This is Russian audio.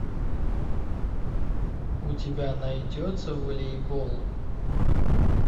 у тебя найдется волейбол